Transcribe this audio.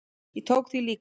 Ég tók því líklega.